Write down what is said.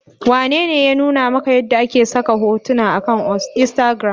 Wanene ya nuna maka yadda ake saka hotuna akan instagram?